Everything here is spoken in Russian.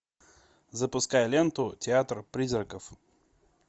запускай ленту театр призраков